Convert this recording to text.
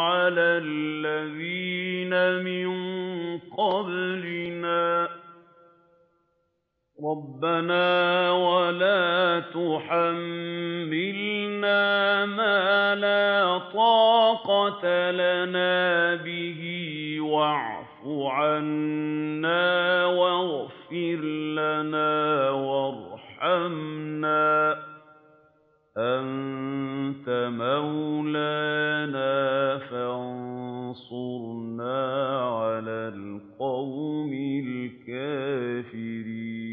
عَلَى الَّذِينَ مِن قَبْلِنَا ۚ رَبَّنَا وَلَا تُحَمِّلْنَا مَا لَا طَاقَةَ لَنَا بِهِ ۖ وَاعْفُ عَنَّا وَاغْفِرْ لَنَا وَارْحَمْنَا ۚ أَنتَ مَوْلَانَا فَانصُرْنَا عَلَى الْقَوْمِ الْكَافِرِينَ